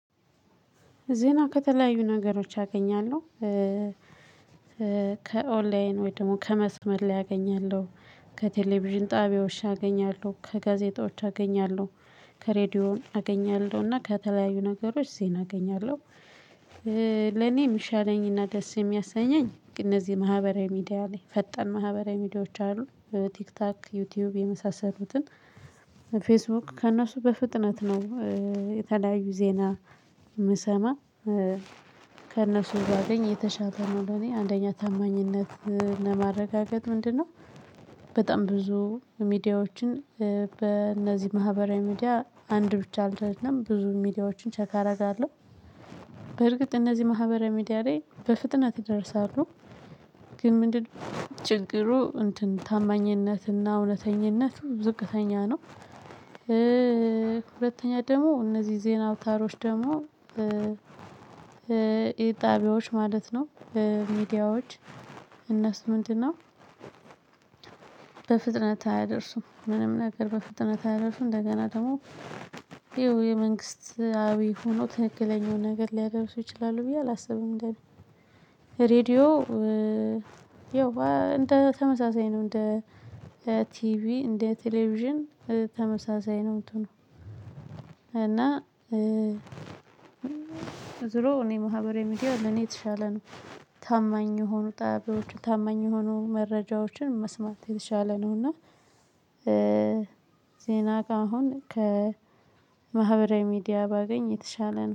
ዜና ከተለያዩ ነገሮች አገኛለሁ። ከኦንላይን ወይም ደግሞ ከመስመር ላይ አገኛለሁ ከቴሌቪዥን ጣቢያዎች አገኛለሁ ከጋዜጦች አገኛለሁ። ከሬዲዮ አገኛለሁና ከተለያዩ ነገሮች ዜና አገኛለሁ። ለኔ የምሻለኝና ደስ የሚያሰኘኝ እነዚህ ማህበራዊ ሚዲያ ላይ ፈጠን ማህበራዊ ሚዲያዎች አሉ። ቲክታክ ዩቲዩብ የመሳሰሉትን። ፌስቡክ ከእነሱ በፍጥነት ነው። የተለያዩ ዜና የምሰማ። ከእነሱ ባገኘ የተሻለ ነው ለኔ አንደኛ ታማኝነት ለማረጋገጥ ምንድነው? በጣም ብዙ ሚዲያዎችን በእነዚህ ማህበራዊ ሚዲያ አንድ ብቻ አይደለም ብዙ ሚዲያዎችን ቼክ አደርጋለሁ። በርግጥ እነዚህ ማህበራዊ ሚዲያ ላይ በፍጥነት ይደርሳሉ። ግን ምንድን ነው ችግሩ እንትን ታማኝነትና እውነተኛነት ነው። ሁለተኛ ደግሞ እነዚህ ዜና አውታሮች ደግሞ የጣቢያዎች ማለት ነው። ሚዲያዎች እነሱ ምንድነው? በፍጥነት አያደርሱም ምንም ነገር በፍጥነት አያደርሱም። እንደገና ደግሞ ይሄው የመንግስታዊ ሆኖ ትንክለኛውን ነገር ሊያደርሱ ይችላሉ ብዬ አላስብም። እንደኔ ሬድዮ ያው እንደ ተመሳሳይ ነው። እንደ ቲቪ እንደ ቴሌቪዥን ተመሳሳይ ነው የምትሆነው። እና ዙሮ እኔ ማህበራዊ ሚዲያ ለኔ የተሻለ ነው። ታማኝ የሆኑ ጣቢያዎችን ታማኝ የሆኑ መረጃዎችን መስማት የተሻለ ነው። እና ዜና ጋር አሁን ከማህበራዊ ሚዲያ ባገኝ የተሻለ ነው